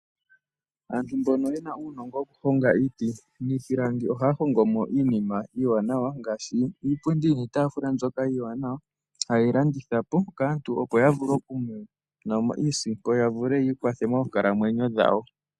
Aantu mbono ye na uunongo wokuhonga iiti niipilangi ohaya hongo mo iinima iiwanawa ngaashi iipundi niitaafula mbyoka iiwanawa haye yi landitha po kaantu, opo ya vule okumona mo iisimpo ya vule yi ikwathe moonkalamwenyo dhawo.